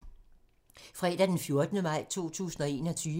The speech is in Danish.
Fredag d. 14. maj 2021